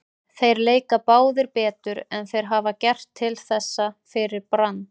Þeir leika báðir betur en þeir hafa gert til þessa fyrir Brann.